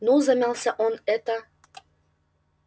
ну замялся он это